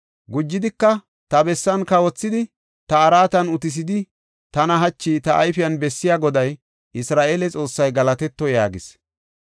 Gujidika, ‘Ta bessan kawothidi, ta araatan utisidi, tana hachi ta ayfen bessiya Goday, Isra7eele Xoossay galatetto!’ ” yaagis.